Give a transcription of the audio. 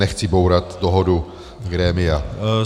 Nechci bourat dohodu grémia.